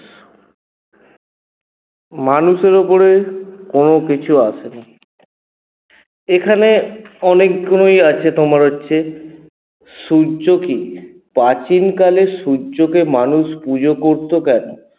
মানুষের উপরে কোনো কিছু আসে না এখানে অনেকসময় আছে তোমার হচ্ছে সূর্য কী প্রাচীন কালে সূর্যকে মানুষ পুজো করত কেন?